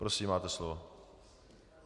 Prosím, máte slovo.